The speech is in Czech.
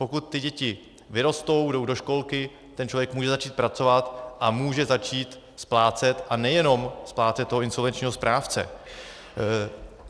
Pokud ty děti vyrostou, jdou do školky, ten člověk může začít pracovat a může začít splácet, a nejenom splácet toho insolvenčního správce.